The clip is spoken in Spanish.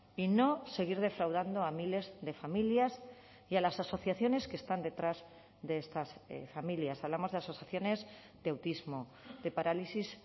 y no seguir defraudando a miles de familias y a las asociaciones que están detrás de estas familias hablamos de asociaciones de autismo de parálisis